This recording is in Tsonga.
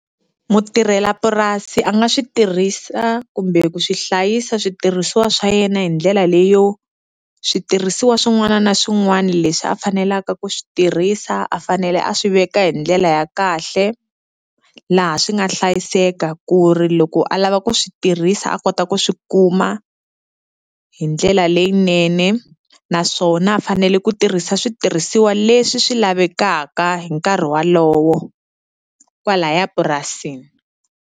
Mutirhelapurasi a nga swi tirhisa kumbe ku swi hlayisa switirhisiwa swa yena hi ndlela leyo, switirhisiwa swin'wana na swin'wana leswi a fanelaka ku swi tirhisa, a fanele a swi veka hi ndlela ya kahle, laha swi nga hlayiseka ku ri loko a lava ku swi tirhisa a kota ku swi kuma hi ndlela leyinene. Naswona a fanele ku tirhisa switirhisiwa leswi swi lavekaka hi nkarhi wolowo kwalaya purasini.